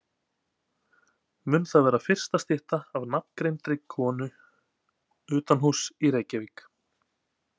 Mun það vera fyrsta stytta af nafngreindri konu utanhúss í Reykjavík.